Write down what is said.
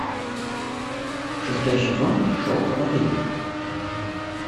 шестой сезон шел проповедник